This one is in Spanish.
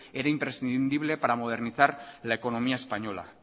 era imprescindible para modernizar la economía española